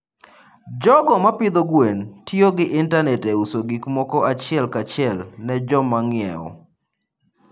jogo ma pidho gwen tiyo gi intanet e uso gik moko achiel kachiel ne joma ng'iewo.